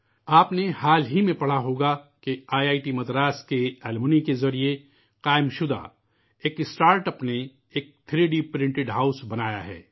آپ نے حال فی الحال میں پڑھا ہوگا ، دیکھا ہوگا کہ آئی آئی ٹی مدراس کے طالب علم کے ذریعے قائم کی گئی ایک اسٹارٹ اَپ نے ایک 3 ڈی پرنٹڈ ہاؤس بنایا ہے